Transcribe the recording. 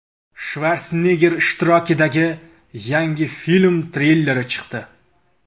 Shvarsenegger ishtirokidagi yangi film treyleri chiqdi .